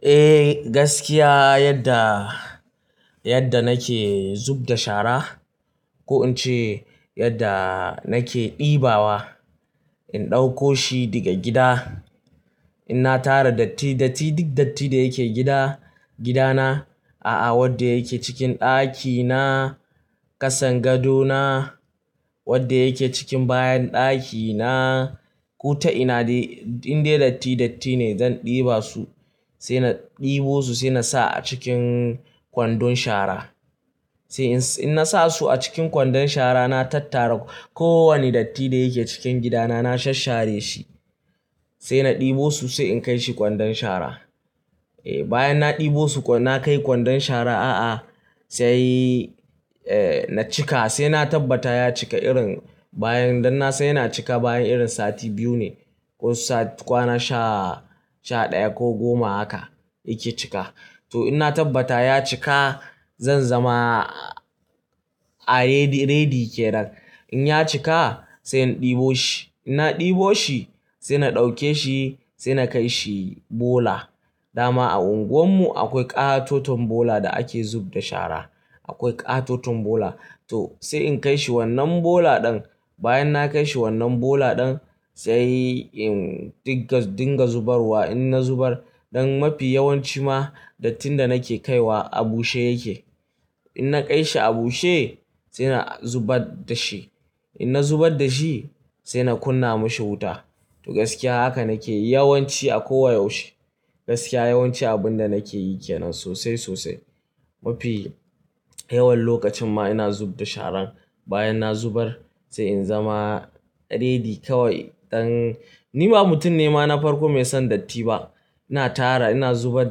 Eh gaskiya yadda, yadda nake zub da shara ko in ce yadda nake ɗibawa. In ɗauko shi daga gida, inna tara datti datti duk datti da yake gida, gidana. A'a wadda yake cikin ɗakina, ƙasan gadona, wadda yake cikin bayan ɗakina. Kuta ina dai, indai datti datti ne zan ɗiba su. Sai na ɗibo su sai na sa a cikin kwandon shara. Sai in, in na sa su a cikin kwandon shara na tattara kowane datti da yake cikin gidana na sasshare shi. Sai na ɗibo su sai in kai shi kwandon shara. Eh bayan na ɗibo su na kai kwandon shara a'a sai eh na cika sai na tabbata ya cika irin bayan dan na san yana cika bayan irin sati biyu ne ko sati, kwana sha, sha ɗaya ko goma haka yake cika. To in na tabbata ya cika zan zama a ready, ready ke nan. In ya cika sai in ɗibo shi. In na ɗibo shi sai na ɗauke shi sai na kai shi bola. Dama a unguwarmu akwai ƙatoton bola da ake zub da shara. Akwai ƙatoton bola. To sai in kai shi wannan bola ɗan bayan na kai shi wannan bola ɗan sai in dinga, dinga zubarwa. In na zubar, ɗan mafi yawanci ma dattin da nake kaiwa a bushe yake. In na kai shi a bushe sai na zubar da shi. In na zubar da shi sai na kunna mashi wuta. To gaskiya haka nake yi yawanci a kowa yaushe. Gaskiya yawanci abin da nake yi ke nan sosai sosai. Mafi yawan lokacin ma ina zub da sharan. Bayan na zubar sai in zama ready kawai. Ɗan, ni ba mutum ne ma na farko mai son datti ba. Ina tara, ina zubar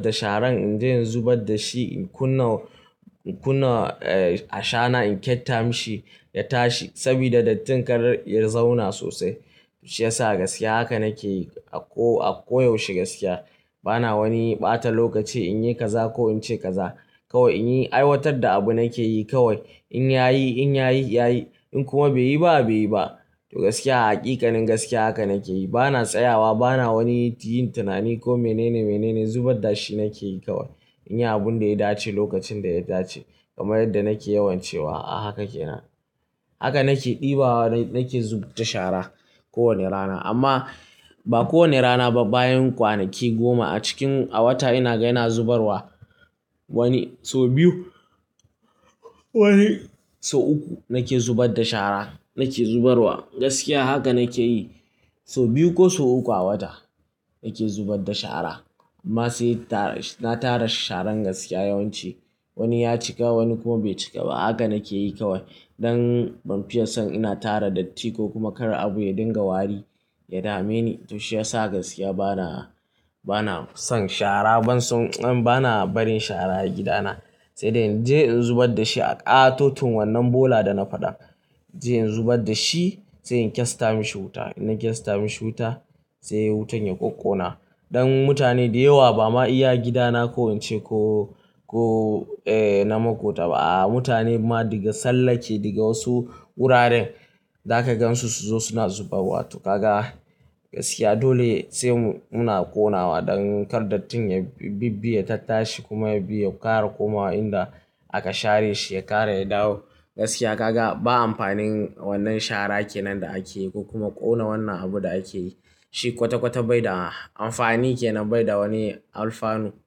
da sharan in je in zubar da shi, in kunna, in kunna eh a shana in kyatta mashi ya tashi saboda dattin kar ya zauna sosai. Shi ya sa gaskiya haka nake yi a ko, a ko yaushe gaskiya. Bana wani ɓata lokaci in yi kaza ko in ce kaza. Kawai in yi aiwatar da abu nake yi kawai. In ya yi, in ya yi, ya yi. In kuma bai yi ba, bai yi ba. To gaskiya haƙikanin gaskiya haka nake yi. Bana tsayawa, bana wani yin tunani ko mene ne mene ne. Zubar da shi nake yi kawai. In yi abun da ya dace lokacin da ya dace. Kamar yadda nake yawan cewa a haka ke nan. Haka nake ɗibawa, nake zub da shara kowane rana. Amma ba kowane rana ba bayan kwanaki goma a cikin, a wata ina ga ina zubarwa wani so biyu, wani so uku nake zubar da shara. Nake zubarwa gaskiya haka nake yi. So biyu ko so uku a wata nake zubar da shara. Amma sai tara, na tara sharan gaskiya yawanci. Wani ya cika wani kuma bai cika ba. Haka nake yi kawai. Ɗan ban fiya son ina tara datti ko kuma kar abu ya dinga wari, ya dame ni. To shi ya sa gaskiya bana, bana son shara ban son, bana barin shara a gidana. Sai dai in je in zubar da shi a ƙatoton wannan bola da na faɗa. Sai in zubar da shi, sai in kyasta mashi wuta. In na kyasta mashi wuta sai wutan ya ƙwaƙƙona. Ɗan mutane da yawa ba ma iya gida na ko in ce ko, ko eh na makota ba. A mutane ma daga sallake daga wasu wuraren za ka gan su su zo suna zubarwa. To gaga gaskiya dole sai mu, muna ƙonawa ɗan kar dattin ya bibbiya ta tashi kuma ya biya, ya ƙara komawa inda aka share shi ya ƙara ya dawo. Gaskiya gaga ba amfanin wannan shara ke nan da ake yi ko kuma ƙona wannan abu da ake yi. Shi kwata-kwata bai da amfani ke nan bai da wani alfanu.